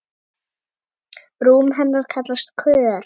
Rúm hennar kallast Kör.